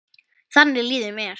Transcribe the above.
Þannig líður mér.